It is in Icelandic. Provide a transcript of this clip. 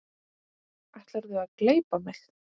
Ætlarðu að gleypa mig!